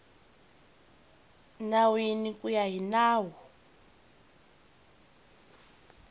nawini ku ya hi nawu